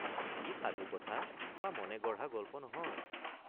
ই সাধুকথা বা মনেগঢ়া গল্প নহয়।